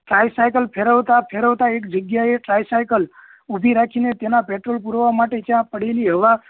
cycle ફેરવતા ફેરવતા એક જગ્યા એ સાયકલ ઉભી રાખીને તેના પેટ્રોલ પુરવા માટે ત્યાં પડેલી હવા